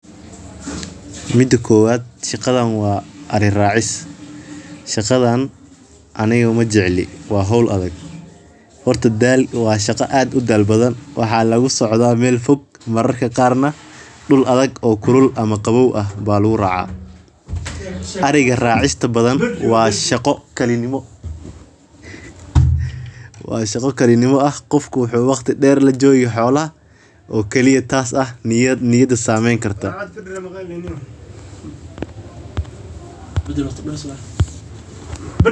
Mida kowad shaqadan waa ari racis shaqadan waa aniga majecli waa hol adhag horta washaqa aaad udal badan losoconayo meel fog dul adhag oo fog oo qawow ah ariga racista badan waa shaqo kali nimo ah tas oo sameyni kartaa.